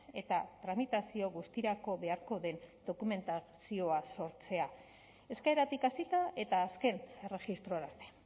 eta tramitazio guztirako beharko den dokumentazioa sortzea eskaeratik hasita eta azken erregistrora arte